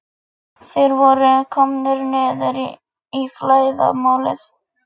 Þeir voru komnir niður í flæðarmálið.